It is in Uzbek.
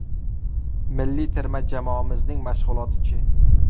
Milliy terma jamoamizning mashg‘uloti-chi?